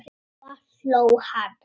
Svo hló hann.